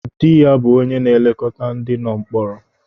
Dị ya bụ onye na-elekọta ndị nọ mkpọrọ.